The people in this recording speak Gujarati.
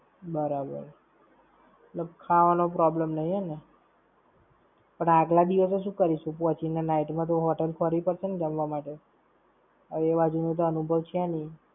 પણ આગલા દિવસે શું કરીશું પહોંચી ને? Night માં તો Hotel તો ખોરવી પડશે ને જમવા માટે. હવે એ બાજુ નો તો અનુભવ છે નઈ. બરાબર. એટલે ખાવાનો problem નઈ એમ ને.